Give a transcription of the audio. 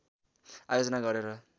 आयोजना गरेर